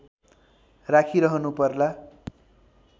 राखिरहनु पर्ला